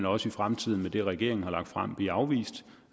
også i fremtiden med det regeringen har lagt frem blive afvist